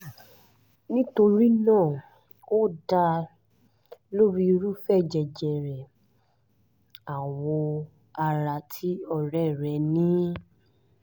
nítorí náà ó dá lórí irúfẹ́ jẹjẹrẹ awọ ara tí ọ̀rẹ́ rẹ́ ní